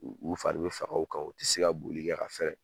U fari bɛ faga u kan u ti se ka boli kɛ ka fɛɛrɛ